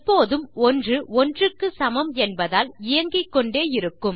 எப்போதும் 1 ஒன்றுக்கு சமம் என்பதால் இயங்கிக்கொண்டே இருக்கும்